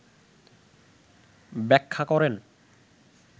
ব্যাখ্যা করেন